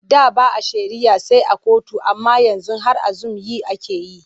Da ba a shari'a sai a kotu amma yanzu har a zum yi ake yi.